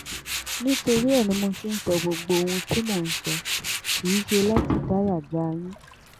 nítorí ẹ ní mo ṣe ń sọ gbogbo ohun tí mò ń sọ kì í ṣe láti dáyà já yín